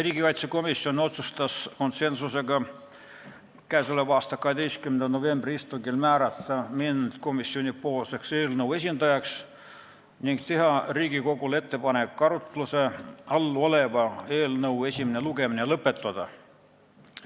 Riigikaitsekomisjon otsustas konsensusega k.a 12. novembri istungil määrata mind eelnõu komisjonipoolseks esindajaks ning teha Riigikogule ettepaneku arutluse all oleva eelnõu esimene lugemine lõpetada.